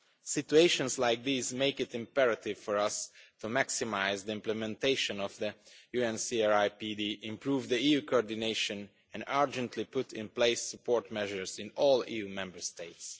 Situations like these make it imperative for us to maximise the implementation of the UNCRPD, improve EU coordination and urgently put in place support measures in all EU Member States.